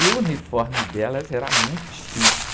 E o uniforme delas era muito chique.